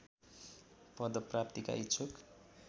पदप्राप्तिका इच्छुक